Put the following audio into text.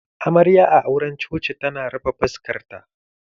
Amarya a auran coci tana rufe fuskar ta